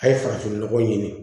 A' ye farafinnɔgɔ ɲini